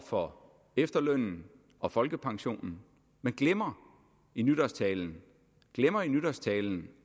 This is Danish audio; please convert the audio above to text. for efterlønnen og folkepensionen men glemmer i nytårstalen glemmer i nytårstalen